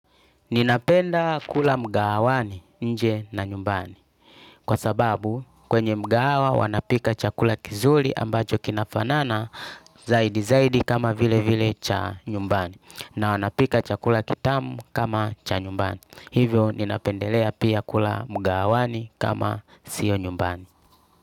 Ninapenda kula mgahawani, nje na nyumbani. Kwa sababu kwenye mgahawa wanapika chakula kizuri ambacho kinafanana zaidi zaidi kama vile vile cha nyumbani. Na wanapika chakula kitamu kama cha nyumbani. Hivyo ninapendelea pia kula mgahawani kama sio nyumbani.